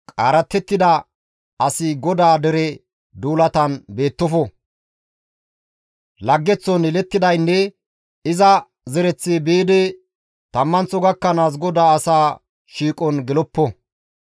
Laggeththon yelettidaynne iza zereththi biidi tammanththo gakkanaas GODAA asa shiiqon geloppo.